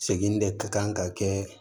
Segin de ka kan ka kɛ